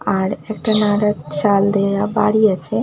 আর একটা নাগার চাল দেয়া বাড়ি আছে।